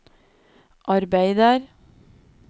arbeider